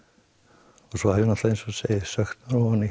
og svo hef ég eins og ég segi sökkt